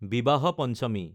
বিবাহ পঞ্চমী